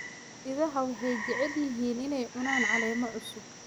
Idaha waxay jecel yihiin inay cunaan caleemo cusub.